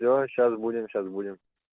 всё сейчас будем сейчас будем